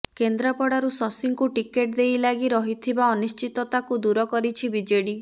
କେନ୍ଦ୍ରାପଡ଼ାରୁ ଶଶୀଙ୍କୁ ଟିକେଟ ଦେଇ ଲାଗି ରହିଥିବା ଅନିଶ୍ଚିତତାକୁ ଦୂର କରିଛି ବିଜେଡି